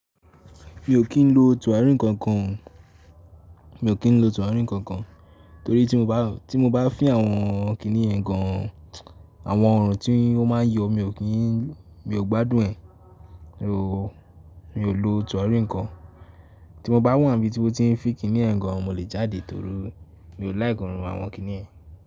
Mi ò kí ń lo tùràrí kankan, torí tí mo bá fín àwọn kiní yẹ̀ gan, àwọn ọ̀orun tí ọ́ ma ń yọ, mi ò gbádùn ẹ̀. Nọ̀, mi ò lo tùràrí nǹkan, tí mo bá wa ni bí tí won ti nfi kiní yẹ̀n gan, mo lè jáde tori, mi ò like òorún àwọn kiní yẹ̀n.